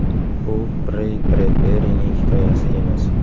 Bu Rey Bredberining hikoyasi emas.